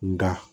Nga